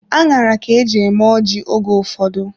Aṅara ka eji eme ọjị oge ụfọdụ.